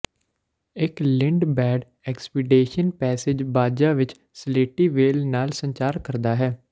ਇੱਕ Lindblad expedition passes Baja ਵਿਚ ਸਲੇਟੀ ਵ੍ਹੇਲ ਨਾਲ ਸੰਚਾਰ ਕਰਦਾ ਹੈ